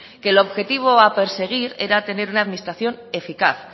que el objetivo a perseguir era tener una administración eficaz